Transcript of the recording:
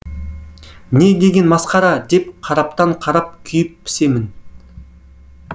не деген масқара деп қараптан қарап күйіп пісемін